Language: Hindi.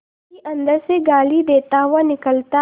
माली अंदर से गाली देता हुआ निकलता है